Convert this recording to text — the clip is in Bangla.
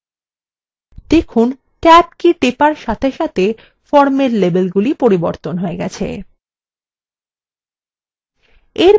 দেখুন ট্যাব key টেপার সাথে সাথে ফর্মের লেবেলগুলি পরিবর্তন হয়ে গেছে